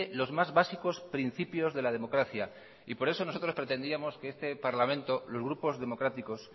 los más básicos principios de la democracia y por eso nosotros pretendíamos que este parlamento los grupos democráticos